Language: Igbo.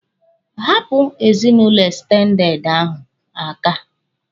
Hapụ ezinụlọ ekstendede ahụ aka!